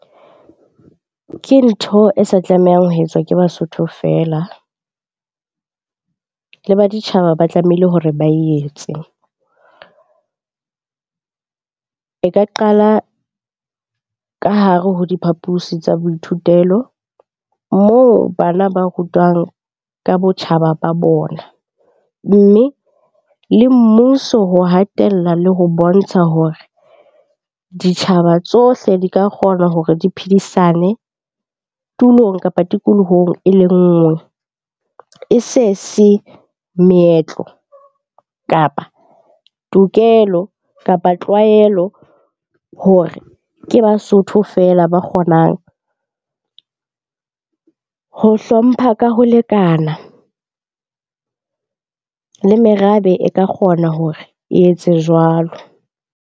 Ke ntho e sa tlamehang ho etswa ke Basotho feela, le baditjhaba ba tlameile hore ba etse. E ka qala ka hare ho diphapusi tsa boithutelo moo bana ba rutwang ka botjhaba ba bona. Mme le mmuso ho hatella le ho bontsha hore ditjhaba tsohle di ka kgona hore di phedisane tulong kapa tikolohong e le nngwe. E se se meetlo, kapa tokelo, kapa tlwaelo hore ke Basotho feela ba kgonang ho hlompha ka ho lekana. Le merabe e ka kgona hore e etse jwalo.